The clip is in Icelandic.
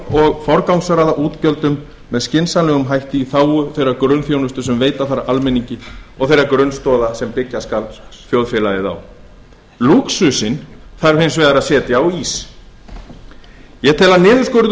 og forgangsraða útgjöldum með skynsamlegum hætti í þágu þeirrar grunnþjónustu sem veita þarf almenningi og þeirra grunnstoða sem byggja skal þjóðfélagið á lúxusinn þarf hins vegar að setja á ís ég tel að niðurskurður